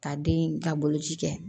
Ka den ka boloci kɛ